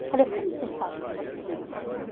Eu falei, como você fala que a minha filha está com câncer?